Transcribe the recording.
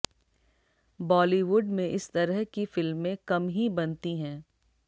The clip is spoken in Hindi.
बॉलीवुड में इस तरह की फिल्में कम ही बनती हैं